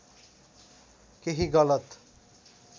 केही गलत